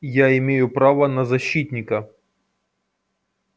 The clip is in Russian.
я имею право на защитника